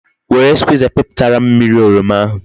Were Skwiza piputara m mmiri oroma ahu